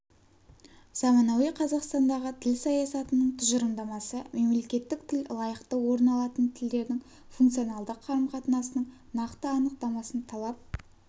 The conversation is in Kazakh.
заманауи қазақстандағы тіл саясатының тұжырымдамасы мемлекеттік тіл лайықты орын алатын тілдердің функционалды қарым-қатынасының нақты анықтамасын талап